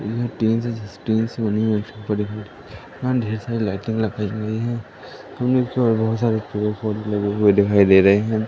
ढेर सारी लाइटिंग लगाई हुई है बहुत सारे पेड़ पौधे लगे हुए दिखाई दे रहे हैं।